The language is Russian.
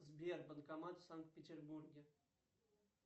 сбер банкомат в санкт петербурге